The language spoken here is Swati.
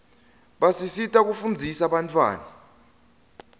basisita kufunzisa bantfwana